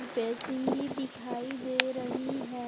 Basin भी दिखाई दे रही है।